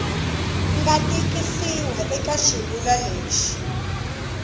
nga tikisiwa eka xivulwa lexi